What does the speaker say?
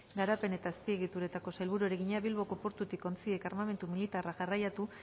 garapen eta azpiegituretako sailburuari egina bilboko portutik ontziek armamentu militarra garraiatu